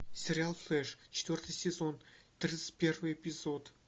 сериал флэш четвертый сезон тридцать первый эпизод